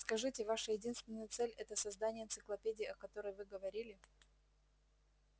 скажите ваша единственная цель это создание энциклопедии о которой вы говорили